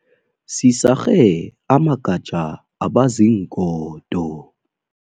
Sisarhe amagatja abaziingodo.